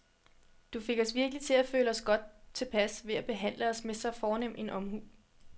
Du fik os virkelig til at føle os godt tilpas ved at behandle os med en så fornem omhu.